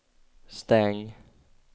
stäng